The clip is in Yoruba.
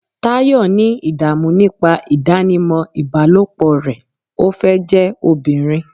Tayo ní idamu nipa idanimọ ibalopo rẹ, o fẹ jẹ ọbirin